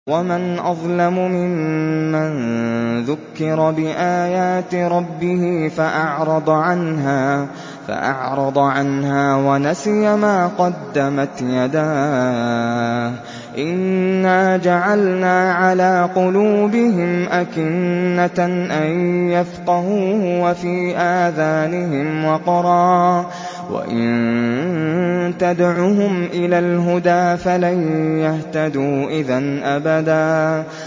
وَمَنْ أَظْلَمُ مِمَّن ذُكِّرَ بِآيَاتِ رَبِّهِ فَأَعْرَضَ عَنْهَا وَنَسِيَ مَا قَدَّمَتْ يَدَاهُ ۚ إِنَّا جَعَلْنَا عَلَىٰ قُلُوبِهِمْ أَكِنَّةً أَن يَفْقَهُوهُ وَفِي آذَانِهِمْ وَقْرًا ۖ وَإِن تَدْعُهُمْ إِلَى الْهُدَىٰ فَلَن يَهْتَدُوا إِذًا أَبَدًا